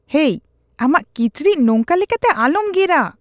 ᱦᱮᱭ, ᱟᱢᱟᱜ ᱠᱤᱪᱨᱤᱡ ᱱᱚᱝᱠᱟ ᱞᱮᱠᱟᱛᱮ ᱟᱞᱚᱢ ᱜᱮᱨᱼᱟ ᱾